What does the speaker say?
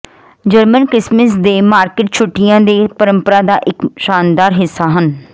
German Christmas ਦੇ market ਛੁੱਟੀਆਂ ਦੇ ਪਰੰਪਰਾ ਦਾ ਇਕ ਸ਼ਾਨਦਾਰ ਹਿੱਸਾ ਹਨ